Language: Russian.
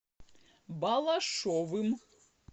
балашовым